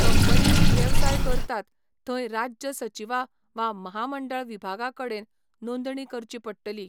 कंपनींनी वेवसाय करतात थंय राज्य सचीवा वा म्हामंडळ विभागा कडेन नोंदणी करची पडटली.